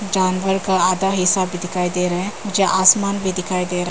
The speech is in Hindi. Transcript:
जानवर का आधा हिस्सा भी दिखाई दे रहा है जहां आसमान भी दिखाई दे रहा।